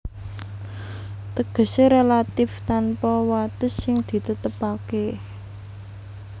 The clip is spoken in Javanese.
Tegesé relatif tanpa wates sing ditetepaké